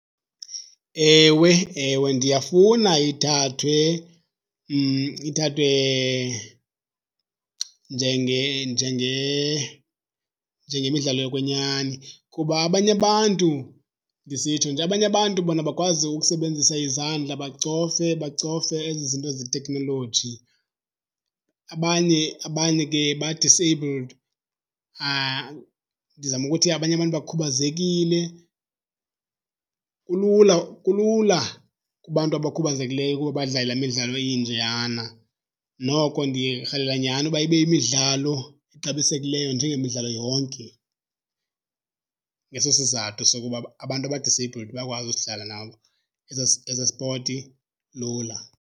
Ewe, ewe, ndiyafuna ithathwe ithathwe njengemidlalo yokwenyani kuba abanye abantu ndisitsho nje abanye abantu bona bakwazi ukusebenzisa izandla bacofe bacofe ezi zinto zeteknoloji, abanye abanye ke ba-disabled. Ndizama ukuthi abanye abantu bakhubazekile. Kulula kulula kubantu abakhubazekileyo ukuba badlale laa midlalo injeyana, noko ndiyarhalela nyhani uba ibe yimidlalo exabisekileyo njengemidlalo yonke. Ngeso sizathu sokuba abantu aba-disabled bayakwazi usidlala nabo, esaa spoti lula.